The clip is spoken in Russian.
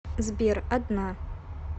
сбер одна